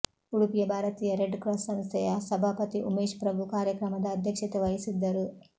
ಉಡುಪಿಯ ಭಾರತೀಯ Red Cross ಸಂಸ್ಥೆಯ ಸಭಾಪತಿ ಉಮೇಶ್ ಪ್ರಭು ಕಾರ್ಯಕ್ರಮದ ಅಧ್ಯಕ್ಷತೆ ವಹಿಸಿದ್ದರು